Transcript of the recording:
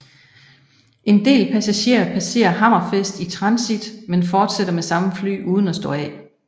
En del passagerer passerer Hammerfest i transit men fortsætter med samme fly uden at stå af